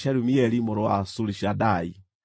Gĩkundi gĩake nĩ kĩa andũ 59,300.